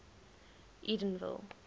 edenville